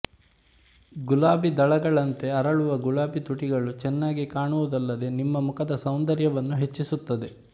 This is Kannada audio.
ಗುಲಾಬಿ ದಳಗಳಂತೆ ಅರಳುವ ಗುಲಾಬಿ ತುಟಿಗಳು ಚೆನ್ನಾಗಿ ಕಾಣುವುದಲ್ಲದೆ ನಿಮ್ಮ ಮುಖದ ಸೌಂದರ್ಯವನ್ನು ಹೆಚ್ಚಿಸುತ್ತದೆ